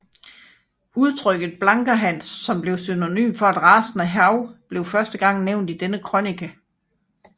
Udtrykket Blanker Hans som synonym for et rasende hav blev første gang nævnt i denne krønike